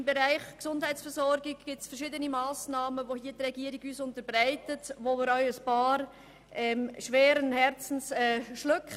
Im Bereich der Gesundheitsversorgung gibt es verschiedene Massnahmen, welche wir schweren Herzens schlucken.